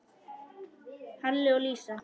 Halli og Lísa.